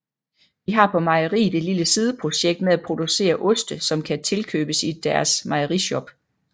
De har på mejeriet et lille sideprojekt med at producere oste som kan tilkøbes i deres mejerishop